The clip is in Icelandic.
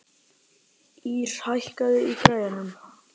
Ýrr, hækkaðu í græjunum.